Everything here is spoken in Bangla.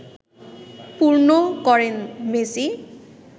পূর্ণ করেন মেসি